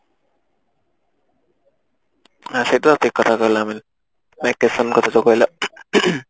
ହଁ ସେଇ ତ ଠିକ କଥା କହିଲ କଥା ଜୋ କହିଲ